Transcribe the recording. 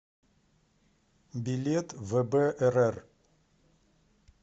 билет вбрр